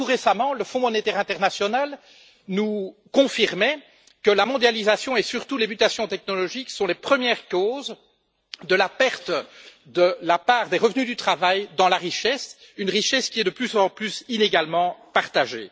Encore tout récemment, le Fonds monétaire international nous confirmait que la mondialisation et surtout les mutations technologiques sont les premières causes de la perte de la part des revenus du travail dans la richesse, une richesse qui est de plus en plus inégalement partagée.